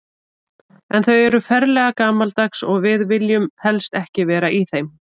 En þau eru ferlega gamaldags og við viljum helst ekki vera í þeim.